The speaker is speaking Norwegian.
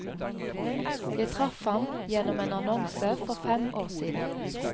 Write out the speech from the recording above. Jeg traff ham gjennom en annonse for fem år siden.